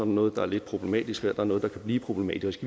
noget der er lidt problematisk og her er der noget der kan blive problematisk